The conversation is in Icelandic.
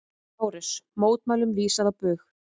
LÁRUS: Mótmælum vísað á bug.